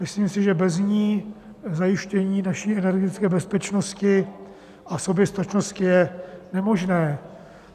Myslím si, že bez ní zajištění naší energetické bezpečnosti a soběstačnosti je nemožné.